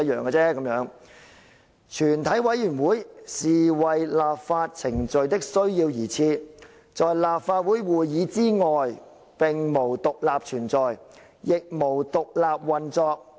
吳靄儀表示，"全體委員會是為立法程序的需要而設，在立法會會議之外無獨立存在，亦無獨立運作。